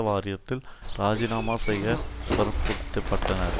வாரியத்தில் ராஜிநாமா செய்ய வற்புறுத்த பட்டனர்